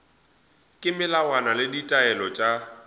ka melawana le ditaelo tša